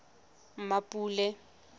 mmapule